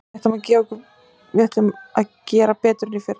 Við ætlum okkur að gera betur en í fyrra.